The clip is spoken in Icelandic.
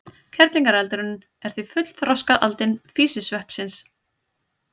Kerlingareldurinn er því fullþroskað aldin físisveppsins.